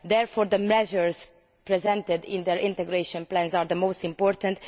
Therefore, the measures presented in their integration plans are the most important.